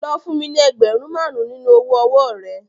Lọ fún mi ní ẹgbẹ̀rún márùn-ún nínú owó ọwọ́ọ̀ rẹ.